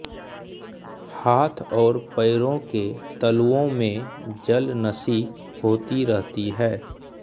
हाथ और पैरों के तलुओं में जलनसी होती रहती है